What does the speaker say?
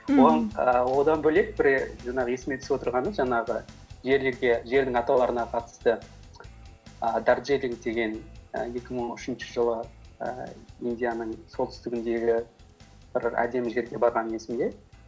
ііі одан бөлек жаңағы есіме түсіп отырғаны жаңағы жердің атауларына қатысты ііі деген і екі мың үшінші жылы ііі индияның солтүстігіндегі бір әдемі жерге барғаным есімде